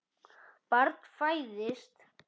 Barn fæðist.